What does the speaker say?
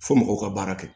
Fo mɔgɔw ka baara kɛ